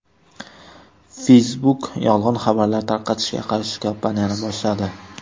Facebook yolg‘on xabarlar tarqatishga qarshi kampaniyani boshladi.